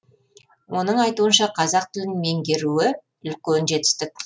оның айтуынша қазақ тілін меңгеріу үлкен жетістік